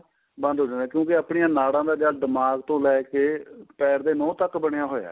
ਬੰਦ ਹੋ ਜਾਂਦਾ ਏ ਕਿਉਂਕਿ ਆਪਣੀਆਂ ਨਾੜਾਂ ਦਾ ਜਦ ਦਿਮਾਗ਼ ਤੋ ਲੈਕੇ ਪੈਰ ਦੇ ਨੋਹ ਤੱਕ ਬਣਿਆ ਹੋਇਆ